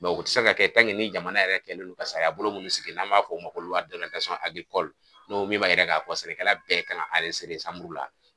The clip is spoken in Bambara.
u tɛ se ka kɛ ni jamana yɛrɛ kɛlen no ka sariyabolo munnu sigi n'an b'a fɔ u ma ko min m'a yira k'a fɔ sɛnɛkɛla bɛɛ kan ka la.